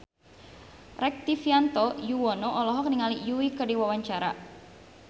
Rektivianto Yoewono olohok ningali Yui keur diwawancara